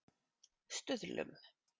Stuðlum